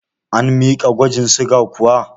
An miki gwajin suga kuwa?